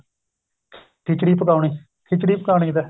ਖਿੱਚੜੀ ਪਕਾਉਣੀ ਖਿੱਚੜੀ ਪਕਾਉਣੀ ਲੈ